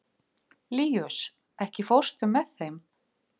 Líus, ekki fórstu með þeim?